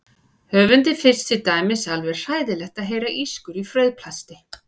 Höfundi finnst til dæmis alveg hræðilegt að heyra ískur í frauðplasti.